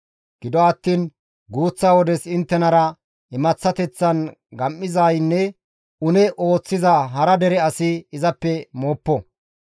Gido attiin guuththa wodes inttenara imaththateththan gam7izaynne une ooththiza hara dere asi izappe mooppo.